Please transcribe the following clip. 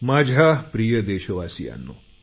माझ्या प्रिय देशवासियांनो